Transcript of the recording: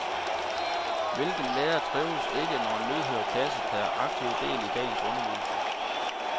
Hvilken lærer trives ikke når en lydhør klasse tager aktivt del i dagens undervisning.